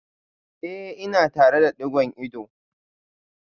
Eh ina tare da digon ido